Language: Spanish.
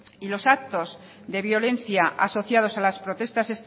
y los actos de violencia asociados a las protestas